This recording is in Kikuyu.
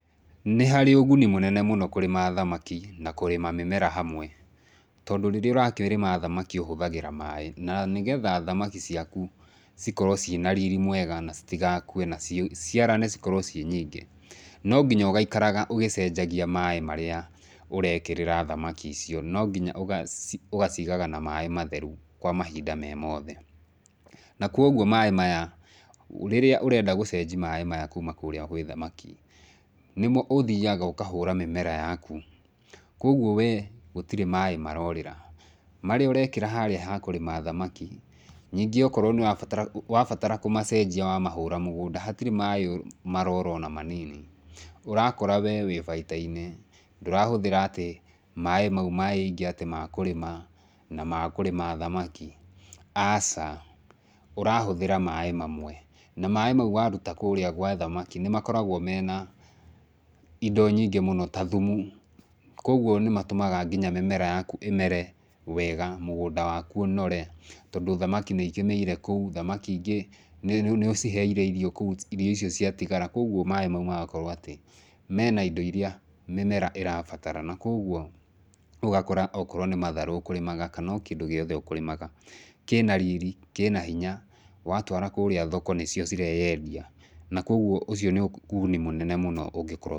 Nĩharĩ ũgũni mũnene mũno kũrĩma thamaki na kũrĩma mĩmera hamwe. Tondũ rĩrĩa ũrakĩrĩma thamaki ũhĩthĩraga maĩ, na nĩgetha thamaki ciakũ cikorwo cina rir mwega na citigakũe na ci ciciarane cikorwo ciĩ nyingĩ, nonginya ũgaikaraga ũgĩcengagia maĩ marĩa ũrekĩrĩra thamaki icio. Nonginya ũgaci ũgacigaga na maĩ matherũ kwa mahinda me mothe. Na kũogũo maĩ maya rĩrĩa ũrenda gũcenji maĩ maya kũma kũrĩa gwĩ thamaki, nĩmo ũthiaga ũkahũra mĩmera yakũ, kũogũo wee gũtirĩ maĩ marorĩra. Marĩa ũrekĩra harĩa ha kũrĩma thamaki, ningĩ okorũo nĩũrabatara wabatara kũmacenjia wamahũra mũganda hatirĩ maĩ morora ona manini. Ũrakora wee wĩ baita-inĩ ndũrahũthĩra atĩ maĩ maũ maiingĩ atĩ ma kũrĩma na ma kũrĩma thamaki, aca ũrahũthĩra maĩ mamwe. Na maĩ maũ warĩta kũu gwa thamaki nĩmakoragwo mena indo nyingĩ mũno ta thũmũ, kũogũo nĩmatũmaga nginya mĩmera yakũ ĩmere wega, mũgũnda wakũ ũnore, tondũ thamaki nũikĩmĩire kũu, thamaki ingĩ nĩũciheire irio kũu, irio icio ciatigara kũogũo maĩ maũ magakorwo atĩ mena indo irĩa mĩmera ĩrabatara na kũogũo ũgakora okorwo nĩ matharũ ũkũrĩmaga, kana o kĩndũ gĩothe ũkũrĩmaga kĩna riri, kĩna hinya watwara kũrĩa thoko nĩcio cireyendia na kũogũo ũcio nĩ ũgũni mũnene mũno ũngĩkorwo.